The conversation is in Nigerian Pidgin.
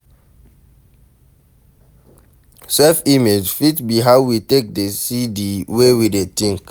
Self image fit be how we take dey see di wey we dey think